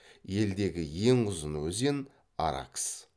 елдегі ең ұзын өзен аракс